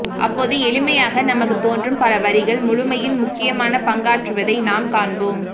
அப்போது எளிமையாக நமக்குத்தோன்றும் பலவரிகள் முழுமையில் முக்கியமான பங்காற்றுவதை நாம் காண்போம்